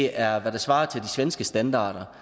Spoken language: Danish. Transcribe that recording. er hvad der svarer til de svenske standarder